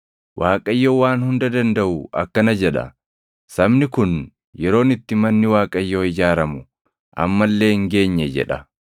Waaqayyo Waan Hunda Dandaʼu akkana jedha: “Sabni kun, ‘Yeroon itti manni Waaqayyoo ijaaramu amma illee hin geenye’ jedha.”